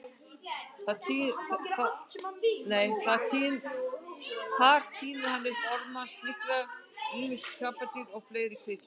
Þar tínir hann upp orma, snigla, ýmis krabbadýr og fleiri kvikindi.